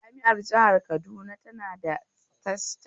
Jami'ar jihar Kaduna tana da tashar radiya na fm